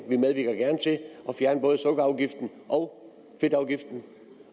at at fjerne både sukkerafgiften og fedtafgiften